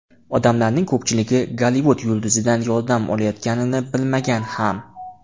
Odamlarning ko‘pchiligi Gollivud yulduzidan yordam olayotganini bilmagan ham.